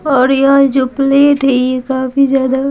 और यह जो प्लेट है ये काफी ज्यादा--